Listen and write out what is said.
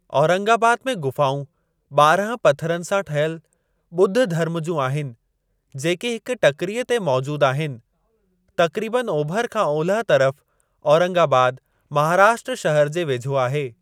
औरंगाबाद में ग़ुफ़ाऊं ॿारहं पथरनि सां ठहियल ॿुधु धर्म जूं आहिनि जेकी हिक टकिरीअ ते मौजूद आहिनि। तक़रीबन ओभर खां ओलह तरफ़ औरंगाबाद महाराष्ट्रा शहर जे वेझो आहे।